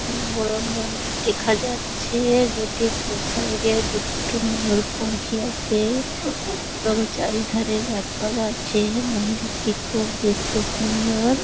একটি বড় মন্দির দেখা যাচ্ছে-এ গেট -এর দু সাইড -এ দুটো ময়ূরপঙ্খী আছে-এ এবং চারিধরে গাছপালা আছে মন্দিরটি খুব দেখতে সুন্দর।